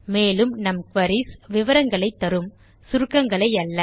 மேலும் நம் குரீஸ் விவரங்களை தரும் சுருக்கங்களை அல்ல